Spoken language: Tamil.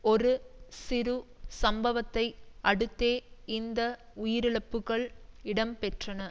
ஒரு சிறு சம்பவத்தை அடுத்தே இந்த உயிரிழப்புக்கள் இடம்பெற்றன